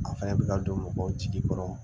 An fɛnɛ bɛ ka don mɔgɔw jigi kɔrɔ